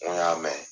N ko n y'a mɛn